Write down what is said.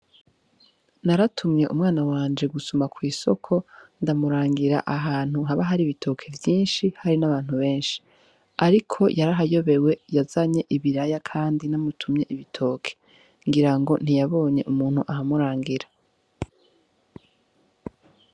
Naratumye umwana wanje gusuma kw'isoko, ndamurangira ahantu haba hari ibitoke vyinshi, hari n'abantu benshi. Ariko yarahayobewe yazanye ibiraya kandi namutumye ibitoke. Ngira ngo ntiyabonye umuntu ahamurangira.